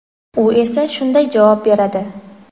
U esa shunday javob beradi:.